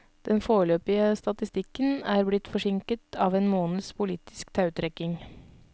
Den foreløpige statistikken er blitt forsinket av en måneds politisk tautrekking.